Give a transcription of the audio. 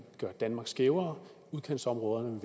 gøre danmark skævere udkantsområderne